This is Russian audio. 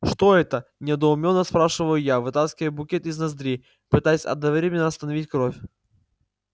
что это недоуменно спрашиваю я вытаскивая букет из ноздри пытаясь одновременно остановить кровь